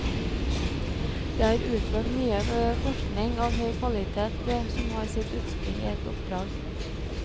Det er utført mye forskning av høy kvalitet som har sitt utspring i et oppdrag.